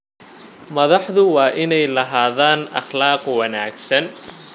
Madaxdu waa inay lahaadaan akhlaaq wanaagsan.